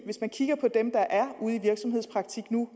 hvis man kigger på dem der er ude i virksomhedspraktik nu